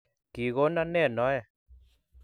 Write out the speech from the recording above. Kikonon ne noe?